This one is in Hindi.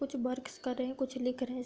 कुछ वर्क्स कर रहे हैं कुछ लिख रहे हैं।